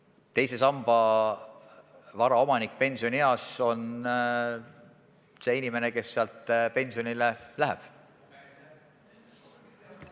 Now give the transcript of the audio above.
Teise samba vara omanik pensionieas on see inimene, kes pensionile läheb.